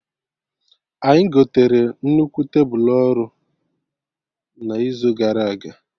Anyị gotere nnukwu tebulu ọrụ na izu gara aga